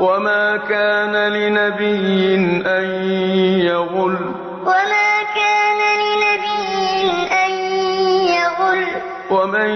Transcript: وَمَا كَانَ لِنَبِيٍّ أَن يَغُلَّ ۚ وَمَن